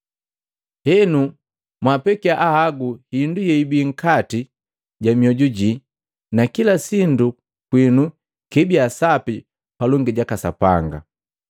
Henu mwapekia ahagu hindu yeibii nkati ja mioju jii na kila sindu kwinu kiibia sapi palongi jaka Sapanga.